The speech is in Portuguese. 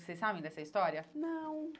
Vocês sabem dessa história? Não